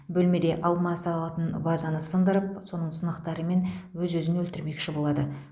бөлмеде алма салатын вазаны сындырып соның сынықтарымен өз өзін өлтірмекші болады